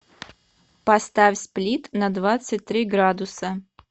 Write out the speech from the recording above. поставь сплит на двадцать три градуса